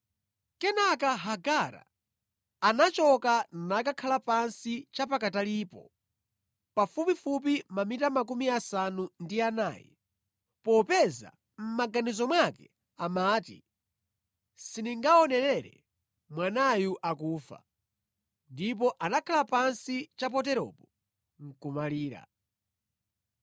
Kenaka Hagara anachoka nakakhala pansi cha pakatalipo, pafupifupi mamita makumi asanu ndi anayi, popeza mʼmaganizo mwake amati, “Sindingaonerere mwanayu akufa.” Ndipo anakhala pansi cha poteropo nʼkumalira.